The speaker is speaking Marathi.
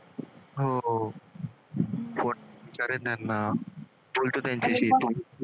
हो त्यांना